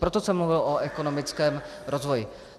Proto jsem mluvil o ekonomickém rozvoji.